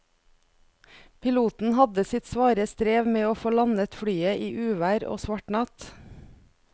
Piloten hadde sitt svare strev med å få landet flyet i uvær og svart natt.